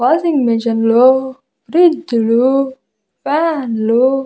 washing మిషన్లో ఫ్రిజ్లు ఫ్యాన్లు --